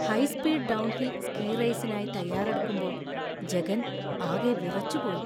High speed downhill ski റേസിനായി തയ്യാറെടുക്കുമ്പോ ജഗൻ ആകെ വിറച്ചുപോയി .